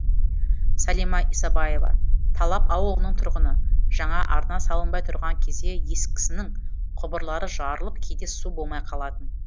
сәлима исабаева талап ауылының тұрғыны жаңа арна салынбай тұрған кезде ескісінің құбырлары жарылып кейде су болмай қалатын